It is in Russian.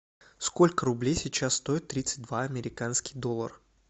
сколько рублей сейчас стоит тридцать два американский доллар